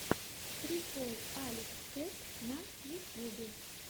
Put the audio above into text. прикол алекс кэт на ютьюбе